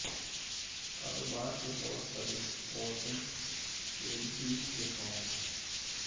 کاروبار کے طور پر رپورٹنگ ای بے کے فوائد